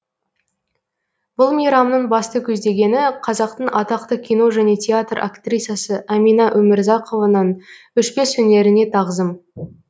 бұл мейрамның басты көздегені қазақтың атақты кино және театр актрисасы әмина өмірзақованың өшпес өнеріне тағзым